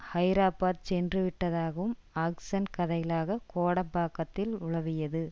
ஹைதராபாத் சென்றுவிட்டதாகவும் ஆக்ஷ்ன் கதைகளாக கோடம்பாக்கத்தில் உலவியது